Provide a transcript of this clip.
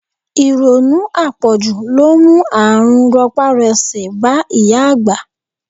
Ìrònú apoju ló mú àrùn ropa-rose bá ìyá àgbà.